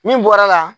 Min bɔra